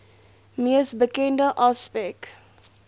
mees bekende aspek